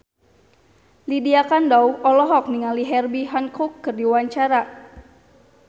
Lydia Kandou olohok ningali Herbie Hancock keur diwawancara